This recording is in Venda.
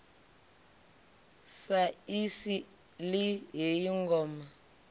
sa i sili heyi ngoma